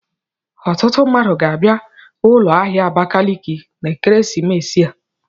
Ọtụtụ mmadụ ga-aga ụlọ ahịa Abakaliki na ekeresimesi a.